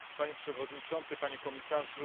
Panie Przewodniczący, Panie Komisarzu!